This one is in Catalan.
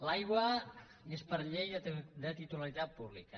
l’aigua és per llei de titularitat pública